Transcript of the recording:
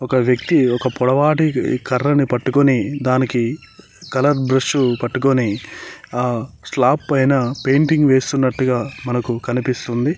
ఒక వ్యక్తి ఒక పొడవాటి కర్ర ని పట్టుకొని దానికి కలర్ బ్రష్ పట్టుకొని ఆ స్లాప్ పైన పెయింటింగ్ వేస్తున్నట్టుగా మనకు కనిపిస్తుంది.